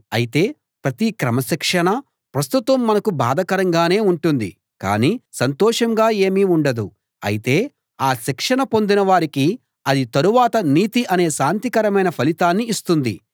అయితే ప్రతి క్రమశిక్షణా ప్రస్తుతం మనకు బాధాకరంగానే ఉంటుంది కానీ సంతోషంగా ఏమీ ఉండదు అయితే ఆ శిక్షణ పొందిన వారికి అది తరువాత నీతి అనే శాంతికరమైన ఫలితాన్ని ఇస్తుంది